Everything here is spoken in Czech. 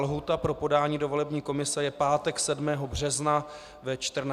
Lhůta pro podání do volební komise je pátek 7. března ve 14 hodin.